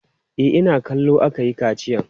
E, ina kallo aka yi kaciyan.